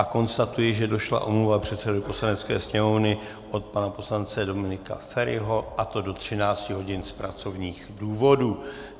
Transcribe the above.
A konstatuji, že došla omluva předsedovi Poslanecké sněmovny od pana poslance Dominika Feriho, a to do 13 hodin z pracovních důvodů.